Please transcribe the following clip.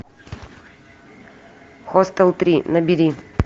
хостел три набери